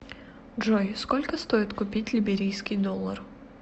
джой сколько стоит купить либерийский доллар